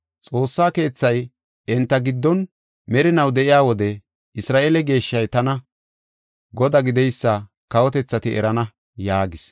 Xoossa keethay enta giddon merinaw de7iya wode, Isra7eele geeshshey tani, Godaa gideysa kawotethati erana” yaagis.